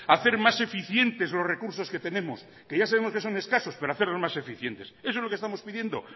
hacer más eficientes los recursos que tenemos que ya sabemos que son escasos pero hacerlos más eficientes eso es lo que estamos pidiendo